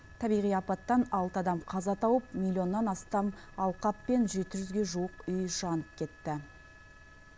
табиғи апаттан алты адам қаза тауып миллионнан астам алқап пен жеті жүзге жуық үй жанып кетті